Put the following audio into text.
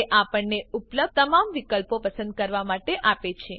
તે આપણને ઉપલબ્ધ તમામ વિકલ્પો પસંદ કરવા માટે આપે છે